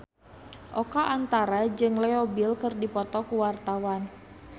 Oka Antara jeung Leo Bill keur dipoto ku wartawan